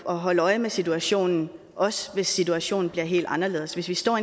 at holde øje med situationen også hvis situationen bliver helt anderledes hvis vi står